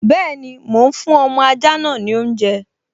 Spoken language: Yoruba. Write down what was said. Bẹ́ẹ̀ni, mò ún fún ọmọ ajá náà ní oúnjẹ